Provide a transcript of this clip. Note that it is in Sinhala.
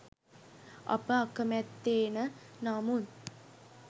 අප අකමැත්තේන නමුත්